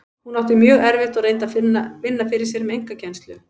Hún átti mjög erfitt og reyndi að vinna fyrir sér með einkakennslu.